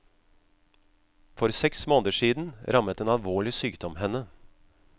For seks måneder siden rammet en alvorlig sykdom henne.